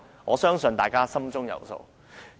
我相信大家心中有數。